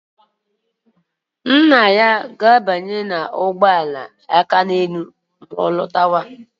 Nna ya ga-abanye ụgbọala Akaneelu ma ọ lọta